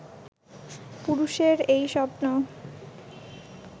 পুরুষের এই স্বপ্ন